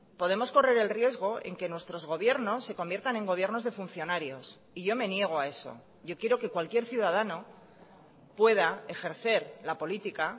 podemos correr el riesgo en que nuestros gobiernos se conviertan en gobiernos de funcionarios y yo me niego a eso yo quiero que cualquier ciudadano pueda ejercer la política